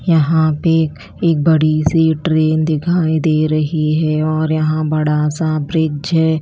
यहां पे एक बड़ी सी ट्रेन दिखाई दे रही है और यहां बड़ा सा ब्रिज है।